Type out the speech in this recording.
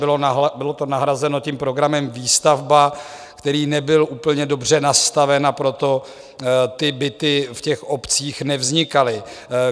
Bylo to nahrazeno tím programem Výstavba, který nebyl úplně dobře nastaven, a proto ty byty v těch obcích nevznikaly.